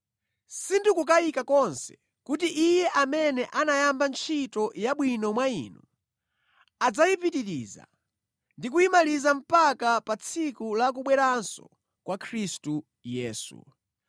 Sindikukayika konse kuti Iye amene anayamba ntchito yabwino mwa inu adzayipitiriza ndi kuyimaliza mpaka pa tsiku la kubweranso kwa Khristu Yesu.